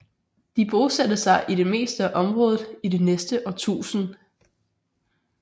De bosatte sig i det meste af området i det næste årtusind